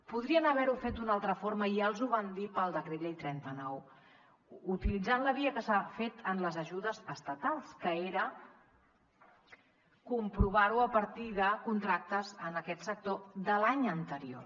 podrien haver ho fet d’una altra forma i ja els ho vam dir pel decret llei trenta nou utilitzant la via que s’ha fet en les ajudes estatals que era comprovar ho a partir de contractes en aquest sector de l’any anterior